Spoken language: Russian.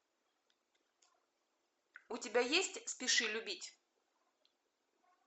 у тебя есть спеши любить